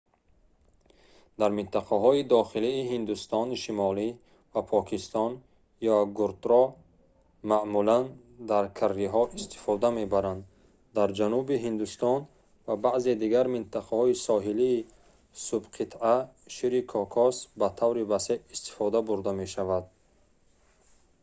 дар минтақаҳои дохилии ҳиндустони шимолӣ ва покистон йогуртро маъмулан дар карриҳо истифода мебаранд дар ҷануби ҳиндустон ва баъзе дигар минтақаҳои соҳилии субқитъа шири кокос ба таври васеъ истифода бурда мешавад